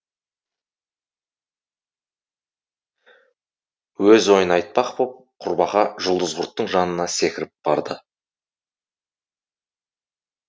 өз ойын айтпақ боп құрбақа жұлдызқұрттың жанына секіріп барды